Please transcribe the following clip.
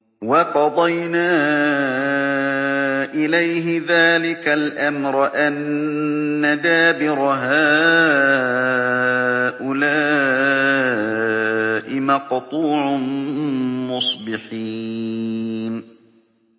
وَقَضَيْنَا إِلَيْهِ ذَٰلِكَ الْأَمْرَ أَنَّ دَابِرَ هَٰؤُلَاءِ مَقْطُوعٌ مُّصْبِحِينَ